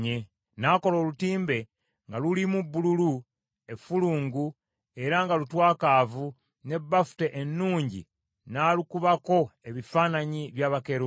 N’akola olutimbe nga lulimu bbululu, effulungu, era nga lutwakaavu, ne bafuta ennungi n’alukubako ebifaananyi bya bakerubi.